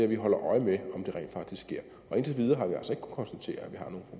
vi holder øje med om det rent faktisk sker og indtil videre har